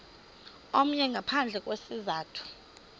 omnye ngaphandle kwesizathu